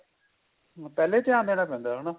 ਪਹਿਲੇ ਧਿਆਨ ਦੇਣਾ ਪੈਂਦਾ ਹਨਾ